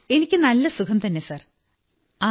എനിക്കു നല്ല സുഖംതന്നെ സർജി